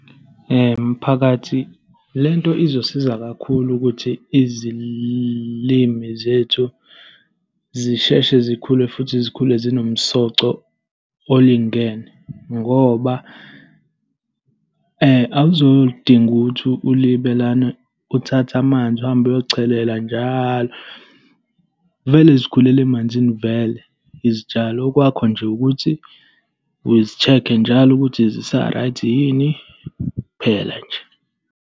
Mphakathi le nto izosiza kakhulu ukuthi izilimi zethu zisheshe zikhule futhi zikhule zinomsoco olingene. Ngoba awuzodinga ukuthi ulibane uthathe amanzi, uhambe uyochelela njalo. Vele zikhulele emanzini vele izitshalo, okwakho nje ukuthi uzi-check njalo ukuthi zisa-right yini. Kuphela nje.